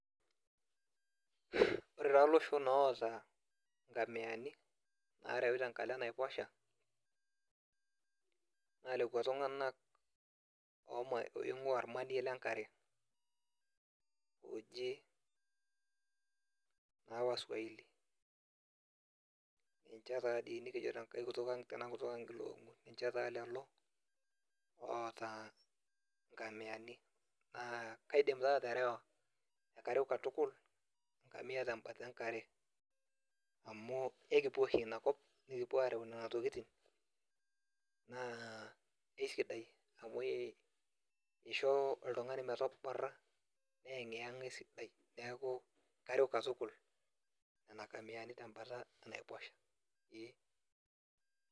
Ore taa loshon oota inkamiani, narewi tenkalo enaiposha, naa lekwa tung'anak oing'ua ormanie lenkare. Oji naa waswahili. Ninche tadii nikijo tenkae kutuk ang tena kutuk ang iloong'u. Ninche taa lelo, oota nkamiani. Naa kaidim taa aterewa, ekareu katukul, enkamia tembata enkare, amu ekipuo oshi inakop, nekipuo areu nena tokiting, naa esidai amu ishoo oltung'ani metoborra, neyeng'iyeng'a esidai, neeku kareu katukul, nena kamiani tembata enaiposha, ee.